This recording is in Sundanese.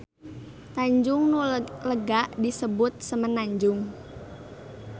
Tanjung nu lega disebut semenanjung.